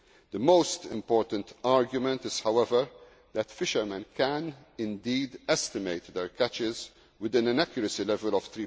system. The most important argument is, however, that fishermen can indeed estimate their catches within an accuracy